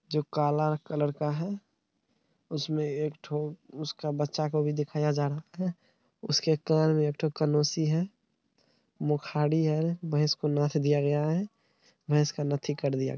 जो काला कलर का है। उसमे एक ठु उसका बच्चा को भी दिखाई जानत है | उसके कान में एक ठु कनोसी है। भैंस को नथ दिया गया है। भैंस का नत्थी कर दिया --